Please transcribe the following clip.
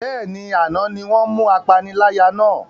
Bẹ́ẹ̀ni, àná ni wọn mú apaniláyà náà